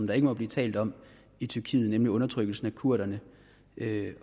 der ikke må blive talt om i tyrkiet nemlig undertrykkelsen af kurderne